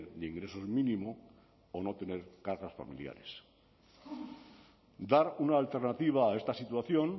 de ingresos mínimo o no tener cargas familiares dar una alternativa a esta situación